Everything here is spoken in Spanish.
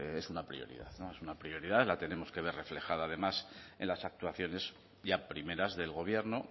pues es una prioridad es una prioridad la tenemos que ver reflejada además en las actuaciones ya primeras del gobierno